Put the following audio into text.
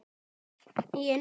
Góðan daginn.